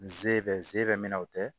Nze bɛ zɛmɛn o tɛ